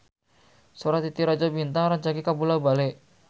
Sora Titi Rajo Bintang rancage kabula-bale